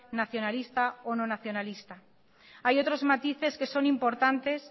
nacionalista o no nacionalista hay otros matices que son importantes